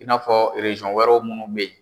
I n'a fɔ wɛrɛw munnu be yen